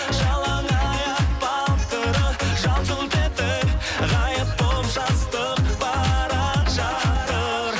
жалаңаяқ балтыры жалт жұлт етіп ғайып болып жастық бара жатыр